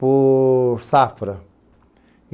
por safra.